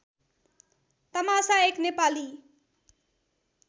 तमासा एक नेपाली